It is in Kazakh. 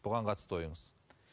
бұған қатысты ойыңыз